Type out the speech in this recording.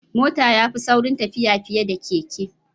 Mota ya fi sauri tafiya fiye da keke.